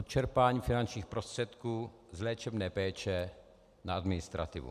Odčerpání finančních prostředků z léčebné péče na administrativu.